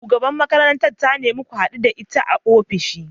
Shugabar makarantar ta nemi ku hadu da ita a ofishinta.